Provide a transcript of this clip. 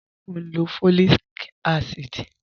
Ṣẹ̀ o n lọ́ fọ́líìkà àsídì?